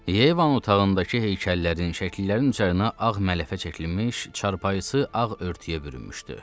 Yevanın otağındakı heykəllərin, şəkillərin üzərinə ağ mələfə çəkilinmiş, çarpayısı ağ örtüyə bürünmüşdü.